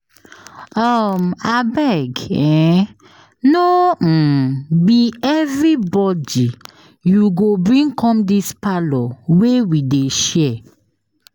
um Abeg um no um be everybodi you go bring come dis parlour wey we dey share.